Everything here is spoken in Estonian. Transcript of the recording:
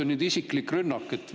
Kas see on isiklik rünnak?